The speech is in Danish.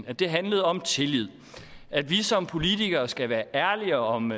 at det handlede om tillid at vi som politikere skal være ærlige om